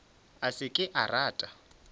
a se ke a rata